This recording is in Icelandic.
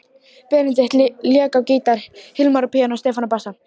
Benedikt lék á gítar, Hilmar á píanó, Stefán á bassa.